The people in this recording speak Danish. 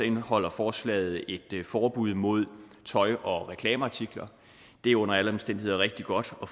indeholder forslaget et forbud mod tøj og reklameartikler det er under alle omstændigheder rigtig godt at